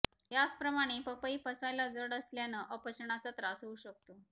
याचप्रमाणे पपई पचायला जड असल्यानं अपचनाचा त्रास होऊ शकतो